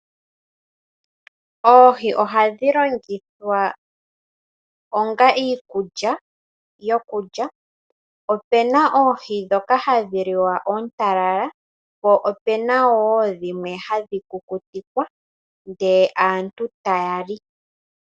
Oohi ohadhi landithwa onga iikulya yokulya. Opena oohi ndhoka hadhi liwa oontalala po opena woo dhimwe hadhi kukutikwa nde aantu tayali.